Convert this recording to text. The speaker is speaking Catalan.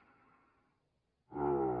i l’hi anava a